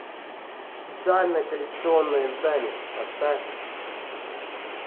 специальное коллекционное издание поставь